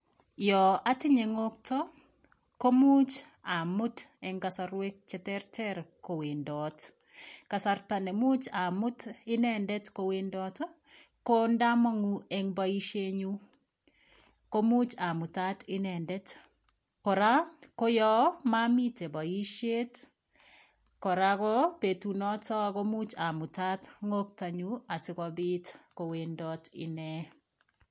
Yo atinye ng'oto komuch amut eng kasarwek cheterter kowendot kasarta nemuch amut inendet kowendot ko ndamong'u eng boishe nyuu komuch amutat inendet kora koyoo mamite boishet kora ko betunoto komuch amutat ng'otonyu asikopit kowendot ine